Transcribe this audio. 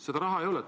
Seda raha ei ole.